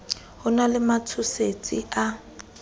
ho na le matshosetsi a